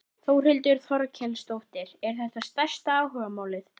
Þórhildur Þorkelsdóttir: Er þetta stærsta áhugamálið?